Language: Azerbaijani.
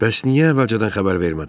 Bəs niyə əvvəlcədən xəbər vermədin?